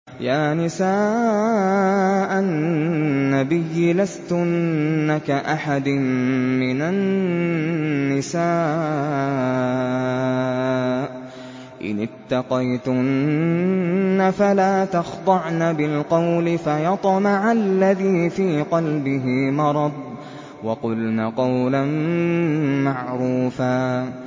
يَا نِسَاءَ النَّبِيِّ لَسْتُنَّ كَأَحَدٍ مِّنَ النِّسَاءِ ۚ إِنِ اتَّقَيْتُنَّ فَلَا تَخْضَعْنَ بِالْقَوْلِ فَيَطْمَعَ الَّذِي فِي قَلْبِهِ مَرَضٌ وَقُلْنَ قَوْلًا مَّعْرُوفًا